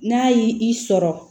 N'a y'i i sɔrɔ